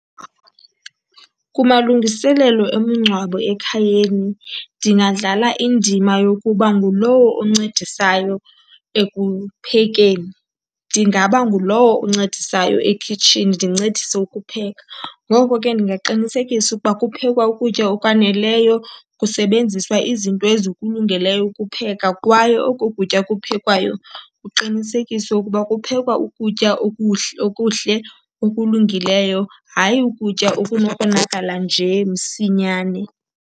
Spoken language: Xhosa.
Kumalungiselelo omngcwabo ekhayeni ndingadlala indima yokuba ngulowo oncedisayo ekuphekeni. Ndingaba ngulowo uncedisayo ekhitshini, ndincedise ukupheka. Ngoko ke ndingaqinisekisa ukuba kuphekwa ukutya okwaneleyo, kusebenziswa izinto ezikulungeleyo ukupheka kwaye oko kutya kuphekwayo kuqinisekiswe ukuba kuphekwa ukutya okuhle okulungileyo, hayi ukutya okunokonakala nje msinyane.